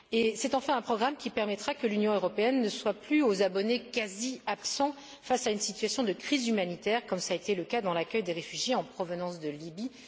C'est enfin un programme qui permettra que l'Union européenne ne soit plus aux abonnés quasi absents face à une situation de crise humanitaire, comme cela a été le cas pour l'accueil des réfugiés en provenance de Lybie.